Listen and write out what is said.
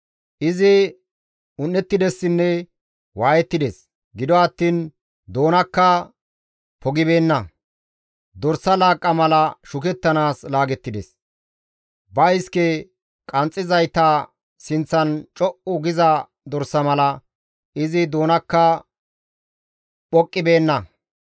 «Izi un7ettidessinne waayettides; gido attiin doonakka pogibeenna. Dorsa laaqqa mala shukettanaas laagettides; ba iske qanxxizayta sinththan co7u giza dorsa mala izi doonakka phoqqibeenna.